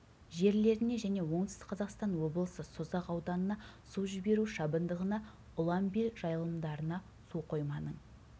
жерлеріне және оңтүстік қазақстан облысы созақ ауданына су жіберу шабындығына ұланбел жайылымдарына су қойманың